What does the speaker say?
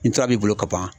N tora b'i bolo ka ban